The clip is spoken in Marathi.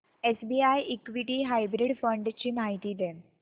एसबीआय इक्विटी हायब्रिड फंड ची माहिती दे